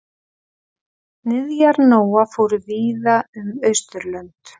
Niðjar Nóa fóru víða um Austurlönd.